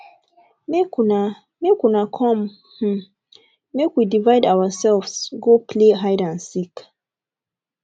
make una make una come um make we divide ourselves go play hide and seek